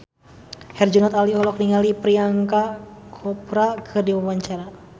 Herjunot Ali olohok ningali Priyanka Chopra keur diwawancara